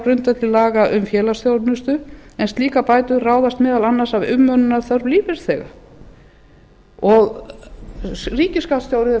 grundvelli laga um félagsþjónustu en slíkar bætur ráð meðal annars af umönnunarþörf lífeyrisþega ríkisskattstjóri eða fulltrúi hans sagði að með